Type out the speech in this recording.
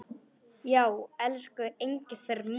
Já, elsku Engifer minn.